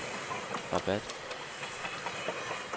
Rabat